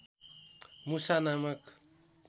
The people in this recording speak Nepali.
मुसा नामक